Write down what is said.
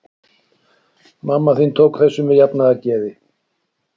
Mamma þín tók þessu með jafnaðargeði.